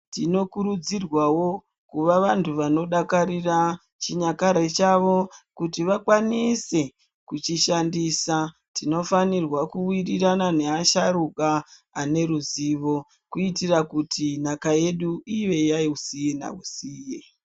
Tinokurudzirwawo kuva vantu vanodakarira chinyakare chavo kuti vakwanise kuchishandisa, tinofanirwa kuwirirana neasharuka ane ruzivo kuitira kuti nhaka yedu ive yayeusina usiye .